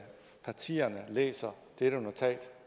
partierne læser dette notat